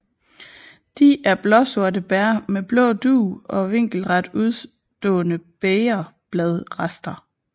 De er blåsorte bær med blå dug og vinkelret udstående bægerbladsrester